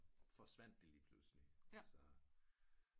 Forsvandt det lige pludselig altså